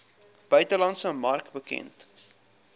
buitelandse mark bekend